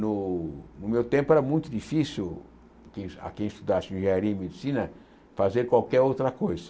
No no meu tempo era muito difícil a quem a quem estudasse engenharia e medicina fazer qualquer outra coisa.